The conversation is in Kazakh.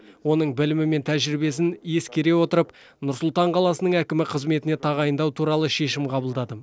оның білімі мен тәжірибесін ескере отырып нұр сұлтан қаласының әкімі қызметіне тағайындау туралы шешім қабылдадым